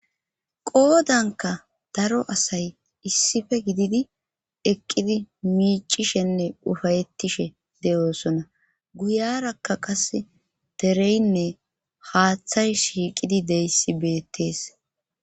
qoodanka daro asay issife gididi eqqidi miicishenne ufayettishe de7oosona guyarakka qas dereynne haaththay shiiqidi deyssi beettees